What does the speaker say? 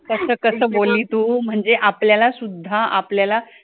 कसं कसं बोलली तू म्हणजे आपल्याला सुद्धा आपल्याला